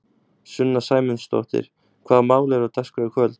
Sunna Sæmundsdóttir: Hvaða mál eru á dagskrá í kvöld?